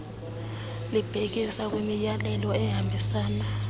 libhekisa kwimiyalelo ehambisana